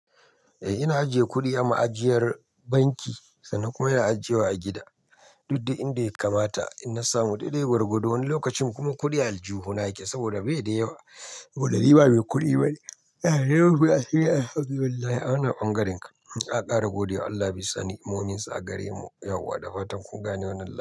Eh ina ajiye kuɗi a ma'ajiyar banki, sannan kuma ina ajiyewa a gida. Duk de inda ya kamata. Inna samu daidai gwargwado, wani lokacin kuma kuɗi a aljihuna yake saboda bai da yawa. Saboda ni ba mai kuɗi bane. Allah ya rufe asiri. Alhamdu lillah. Awannan ɓangaren kam. A ƙara godiya. Allah bi sani. Muminsu a gare mu. Yauwa da fatan kun gane wannan labari.